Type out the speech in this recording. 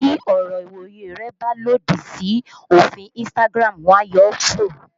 Tí ọ̀rọ̀ ìwòye rẹ bá lòdì sí òfin Instagram, wọ́n á yọ ọ́ kúrò